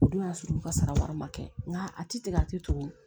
O don y'a sɔrɔ u ka sara wɛrɛ ma kɛ nka a ti tigɛ a ti tugu